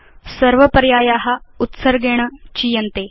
सर्व पर्याया उत्सर्गेण चीयन्ते